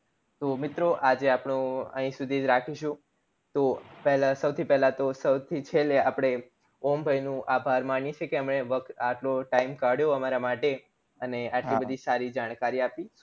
તો મિત્રો આજે આપડું અઈ સુધી રાખીશું તો પેલા સૌથી પેલા તો સૌથી છેલ્લે ઓમ ભય નું આભાર માનીશું એમને વક્ત આપ્યો time કાઢ્યો અમારાં માટે અને એટલી બધી સારી જાણકારી આપી